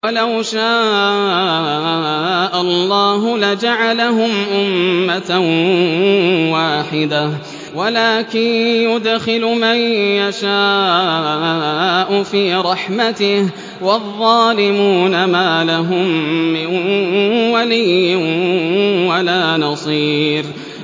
وَلَوْ شَاءَ اللَّهُ لَجَعَلَهُمْ أُمَّةً وَاحِدَةً وَلَٰكِن يُدْخِلُ مَن يَشَاءُ فِي رَحْمَتِهِ ۚ وَالظَّالِمُونَ مَا لَهُم مِّن وَلِيٍّ وَلَا نَصِيرٍ